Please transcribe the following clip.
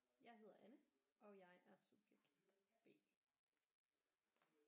Jeg hedder Anne og jeg er subjekt B